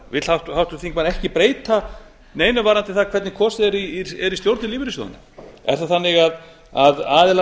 vill háttvirtur þingmaður ekki breyta neinu varðandi það hvernig kosið er í stjórnir lífeyrissjóðanna er það þannig að aðilar